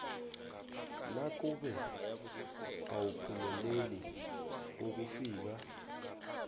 nakube awuphumeleli ukufika